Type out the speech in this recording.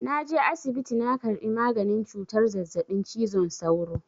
Na je asibiti na karɓi maganin cutar zazzaɓin cizon sauro.